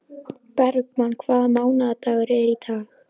Bergmann, hvaða mánaðardagur er í dag?